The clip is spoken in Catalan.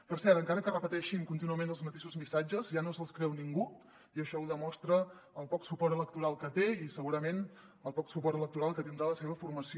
per cert encara que repeteixin contínuament els mateixos missatges ja no se’ls creu ningú i això ho demostra el poc suport electoral que té i segurament el poc suport electoral que tindrà la seva formació